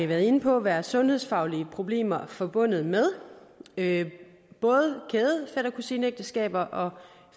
været inde på være sundhedsfaglige problemer forbundet med med både kæde fætter kusine ægteskaber og